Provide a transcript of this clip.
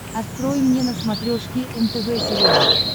открой мне на смотрешке нтв сериал